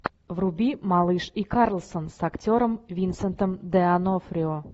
вруби малыш и карлсон с актером винсентом д онофрио